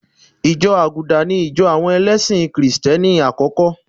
Ìjọ àgùdà ní ìjọ̀ àwọn ẹlẹ́sì kì̀rìtẹ́ni àkọ́kọ́.